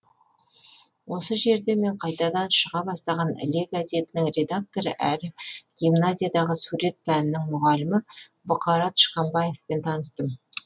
осы жерде мен қайтадан шыға бастаған іле газетінің редакторы әрі гимназиядағы сурет пәнінің мұғалімі бұқара тышқанбаевпен таныстым